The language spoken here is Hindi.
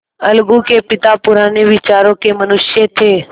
अलगू के पिता पुराने विचारों के मनुष्य थे